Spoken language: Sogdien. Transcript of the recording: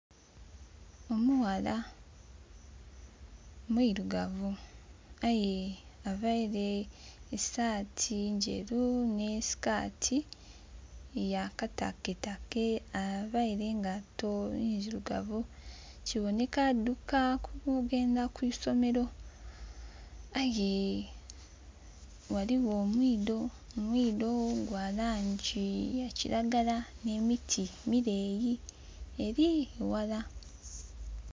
Omughala mwirugavu aye availe esaati nderu ni sikaati ya kataketake availe engaito ndhirugavu kuboneka ali kulumuka nga agya ku isomero. Aye ghaligho eisubi elya langi ya kiragala ne miti emileyi ere eghala.